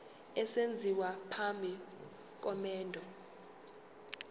esenziwa phambi komendo